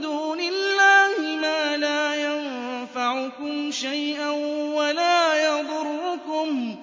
دُونِ اللَّهِ مَا لَا يَنفَعُكُمْ شَيْئًا وَلَا يَضُرُّكُمْ